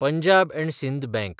पंजाब आनी सिंद बँक